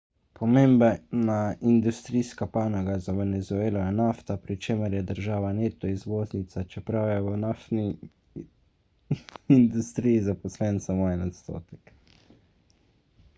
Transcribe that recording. pomembna industrijska panoga za venezuelo je nafta pri čemer je država neto izvoznica čeprav je v naftni industriji zaposlen samo en odstotek